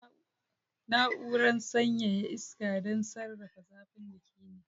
Na'urar sanyaya iska don sarrafa zafin jiki ne.